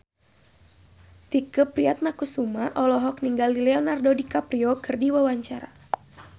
Tike Priatnakusuma olohok ningali Leonardo DiCaprio keur diwawancara